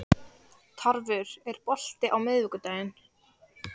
Tarfur, er bolti á miðvikudaginn?